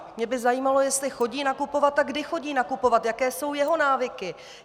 Mě by zajímalo, jestli chodí nakupovat a kdy chodí nakupovat, jaké jsou jeho návyky.